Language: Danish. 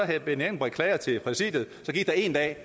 herre benny engelbrecht klagede til præsidiet gik der en dag